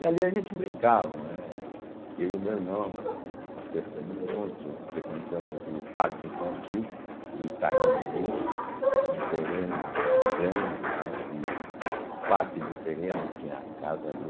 E ali a gente brincava, né, eu e o meu irmão, nós crescemos juntos, frequentamos o parque infantil do Itaim Bibi, um terreno grande lá, que parte do terreno tinha a casa do